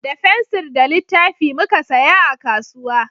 Da fensir da littafi muka saya a kasuwa